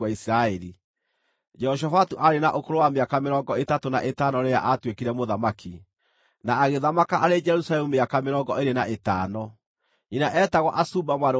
Jehoshafatu aarĩ na ũkũrũ wa mĩaka mĩrongo ĩtatũ na ĩtano rĩrĩa aatuĩkire mũthamaki, na agĩthamaka arĩ Jerusalemu mĩaka mĩrongo ĩĩrĩ na ĩtano. Nyina eetagwo Azuba mwarĩ wa Shilihi.